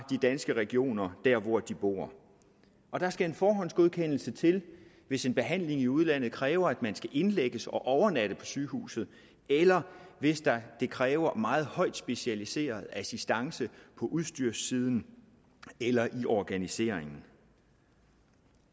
danske regioner der hvor de bor der skal en forhåndsgodkendelse til hvis en behandling i udlandet kræver at man skal indlægges og overnatte på sygehuset eller hvis det kræver meget højt specialiseret assistance på udstyrssiden eller i organiseringen